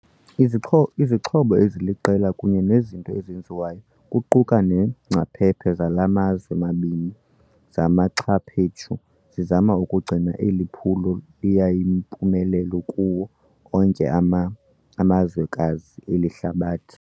Izixhobo Izixho eziliqela kunye nezinto ezenziwayo, kuquka neengcaphephe zala mazwe mabini zimaxhaphetshu zizama ukugcina eli phulo liyimpumelelo kuwo onke ama amazwekazi eli hlabathi.